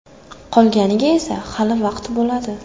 Qolganiga esa hali vaqt bo‘ladi.